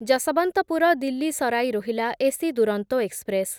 Yeshwantpur Delhi Sarai Rohilla AC Duronto express